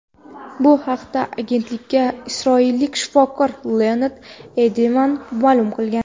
Bu haqda agentlikka isroillik shifokor Leonid Eydelman ma’lum qilgan.